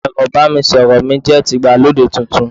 ẹrọ ibanisọrọ mi jẹ ti Igbalode Titun